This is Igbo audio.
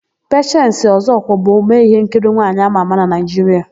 Pechensi Ọzọkwọ bụ omee íhénkiri nwaanyị ámà ámà na Naịjiria.